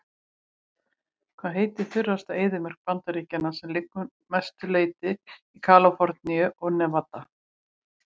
Hvað heitir þurrasta eyðimörk Bandaríkjanna sem liggur að mestu leyti í Kaliforníu og Nevada?